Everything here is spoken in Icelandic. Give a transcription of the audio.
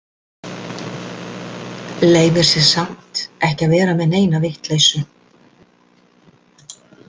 Leyfir sér samt ekki að vera með neina vitleysu.